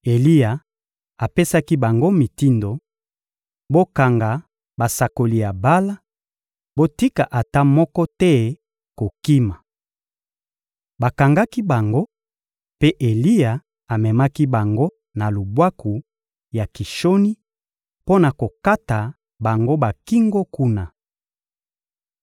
Eliya apesaki bango mitindo: — Bokanga basakoli ya Bala, botika ata moto moko te kokima. Bakangaki bango, mpe Eliya amemaki bango na lubwaku ya Kishoni mpo na kokata bango bakingo kuna.